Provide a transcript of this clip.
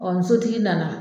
n sotigi nana